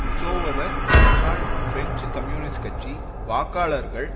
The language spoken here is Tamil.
உசோவத முன்னாள் பிரெஞ்சு கம்யூனிஸ்ட் கட்சி வாக்காளர்கள்